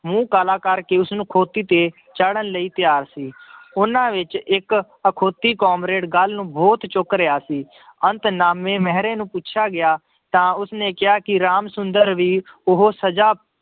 ਮੂੰਹ ਕਾਲਾ ਕਰਕੇ ਉਸਨੂੰ ਖੋਤੀ ਤੇ ਚਾੜ੍ਹਨ ਲਈ ਤਿਆਰ ਸੀ ਉਹਨਾਂ ਵਿੱਚ ਇੱਕ ਅਖੋਤੀ ਕਾਮਰੇਡ ਗੱਲ ਨੂੰ ਬਹੁਤ ਚੁੱਕ ਰਿਹਾ ਸੀ ਅੰਤ ਨਾਮੇ ਮਿਹਰੇ ਨੂੰ ਪੁੱਛਿਆ ਗਿਆ ਤਾਂ ਉਸਨੇ ਕਿਹਾ ਕਿ ਰਾਮ ਸੁੰਦਰ ਵੀ ਉਹ ਸਜ਼ਾ